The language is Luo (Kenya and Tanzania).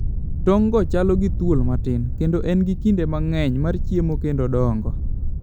Tong go chalo gi thuol matin, kendo en gi kinde mang'eny mar chiemo kendo dongo.